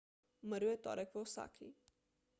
umrl je v torek v osaki